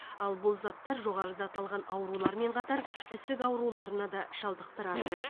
ал бұл заттар жоғарыда аталған аурулармен қатар ісік ауруларына да шалдықтырады